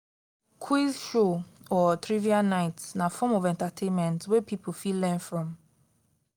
quiz show or trivia nights na form of entertainment wey pipo fit learn from